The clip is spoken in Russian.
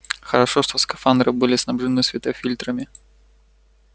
хорошо что скафандры были снабжены светофильтрами